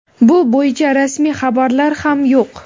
bu bo‘yicha rasmiy xabarlar ham yo‘q.